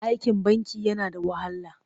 Aikin banki yana da wahala.